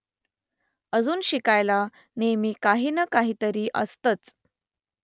अजून शिकायला नेहमी काही ना काहीतरी असतंच